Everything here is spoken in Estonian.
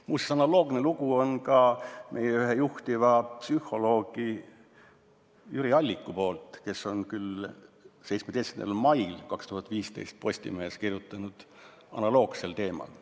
Muuseas, analoogne lugu on ka meie ühe juhtiva psühholoogi Jüri Alliku sulest, kes 17. mail 2015 Postimehes kirjutas analoogsel teemal.